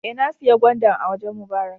Eh, na siya gwandan a wajen Mubarak